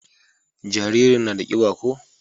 jaririn na da kiba ko?